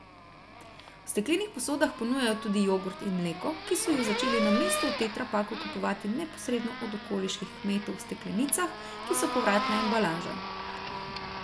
V steklenih posodah ponujajo tudi jogurt in mleko, ki so ju začeli namesto v tetrapaku kupovati neposredno od okoliških kmetov v steklenicah, ki so povratna embalaža.